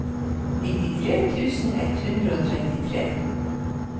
nittitre tusen ett hundre og trettitre